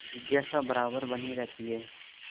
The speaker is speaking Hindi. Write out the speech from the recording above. जिज्ञासा बराबर बनी रहती है